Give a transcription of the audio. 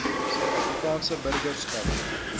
suid afrikaanse burgerskap